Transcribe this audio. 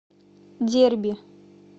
дерби